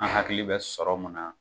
An hakili bɛ sɔrɔ mun na